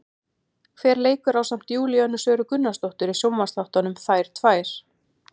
Hver leikur ásamt Júlíönu Söru Gunnarsdóttir í sjónvarpsþáttunum, Þær tvær?